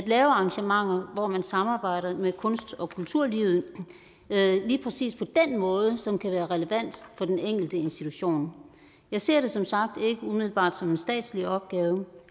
lave arrangementer hvor man samarbejder med kunst og kulturlivet lige præcis på den måde som kan være relevant for den enkelte institution jeg ser det som sagt ikke umiddelbart som en statslig opgave